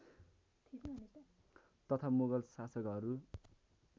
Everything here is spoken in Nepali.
तथा मुगल शासकहरू